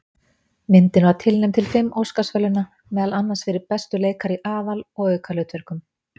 Myndin var tilnefnd til fimm Óskarsverðlauna, meðal annars fyrir bestu leikara í aðal- og aukahlutverkum.